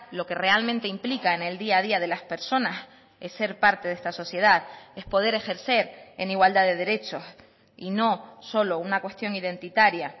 lo que realmente implica en el día a día de las personas es ser parte de esta sociedad es poder ejercer en igualdad de derechos y no solo una cuestión identitaria